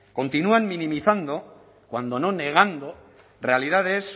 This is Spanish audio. continúan minimizando cuando no negando realidades